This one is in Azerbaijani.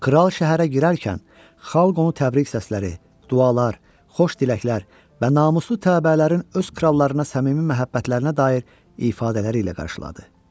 Kral şəhərə girərkən xalq onu təbrik səsləri, dualar, xoş diləklər və namuslu təbəələrin öz krallarına səmimi məhəbbətlərinə dair ifadələri ilə qarşıladı.